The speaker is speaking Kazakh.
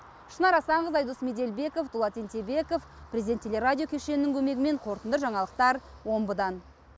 шынар асанқызы айдос меделбеков дулат ентебеков президент телерадио кешенінің көмегімен қорытынды жаңалықтар омбыдан